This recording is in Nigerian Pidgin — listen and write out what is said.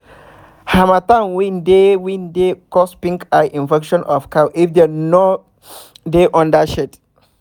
hamattan wind dey wind dey cause pink eye infection of cow if dem no dey under shade